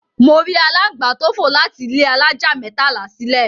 Mo rí aláǹgbá tó fò láti ilé alájà mẹ́tàlá sílè.